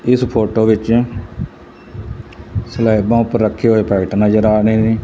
ਇਸ ਫੋਟੋ ਵਿੱਚ ਸਲੈਬਾ ਉਪਰ ਰੱਖੇ ਹੋਏ ਪੈਕੇਟ ਨਜ਼ਰ ਆ ਰਹੇ ਨੇ।